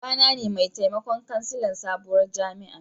Baba na ne mai taimakon kansilan sabuwar jami'an.